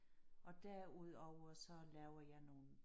Og derudover så laver jeg nogle